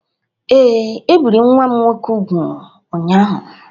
Ee, e biri nwa m nwoke úgwù ụnyahụ.